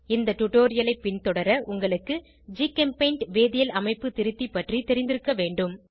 இந்த டுடோரியலை பின்தொடர உங்களுக்கு ஜிகெம்பெய்ண்ட் வேதியியல் அமைப்பு திருத்தி பற்றி தெரிந்திருக்க வேண்டும்